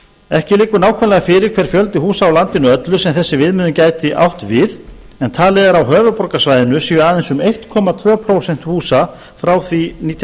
ekki liggur nákvæmlega fyrir hver fjöldi húsa er á landinu öllu sem þessi viðmiðun gæti átt við en talið er að á höfuðborgarsvæðinu séu aðeins um einn komma tvö prósent húsa frá því fyrir nítján